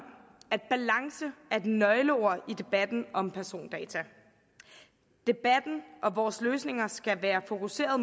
at nøgleord i debatten om persondata debatten og vores løsninger skal være fokuseret